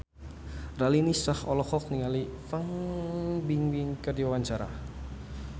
Raline Shah olohok ningali Fan Bingbing keur diwawancara